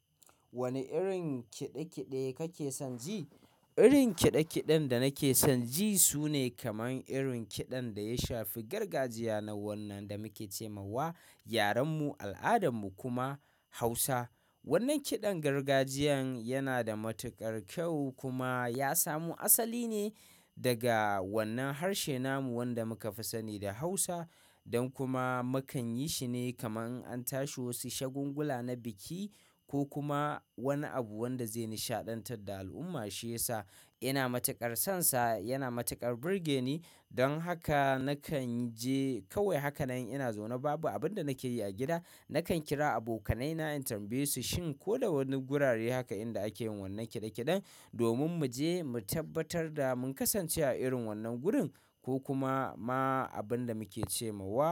Wane irin kiɗe-kiɗe kake son ji? Irin kiɗe-kiɗen da nake son ji sune kaman irin kiɗan da ya shafi gargajiya na wannan da muke ce mawawa yaren mu al'adan mu kuma Hausa. Wannan kiɗan gargajiyan yana da matukar kyau kuma ya samo asali ne daga wannan harshe namu wanda muka fi sani da Hausa. Don kuma mu kan yi shi ne kaman an tashi wasu shagungula na biki ko kuma wani abu wanda zai nishaɗantar da al'umma shi yasa ina matukar sonsa. Yana matukar burge ni. Don haka nakan ji kawai hakan nan ina zaune babu abin da nake yi a gida, nakan kira abokanai na in tambaye su shin ko da wani gurare haka inda ake yin wannan kiɗe-kiɗen domin mu je mu tabbatar da mun kasance a irin wannan gurin ko kuma ma abin da muke ce mawa.